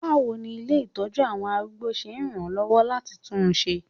Báwo ni ilé ìtọ́jú àwọn arúgbó ṣe ràn án lọ́wọ́ láti tún un ṣe?